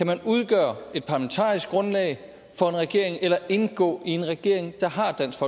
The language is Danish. man kan udgøre et parlamentarisk grundlag for en regering eller indgå i en regering der har dansk